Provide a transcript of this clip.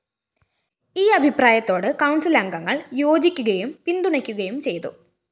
ഈ അഭിപ്രായത്തോട് കൗണ്‍സിലംഗങ്ങള്‍ യോജിക്കുകയും പിന്തുണയ്ക്കുകയും ചെയ്തു